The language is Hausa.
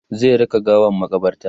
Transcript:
zai raka gawan makabarta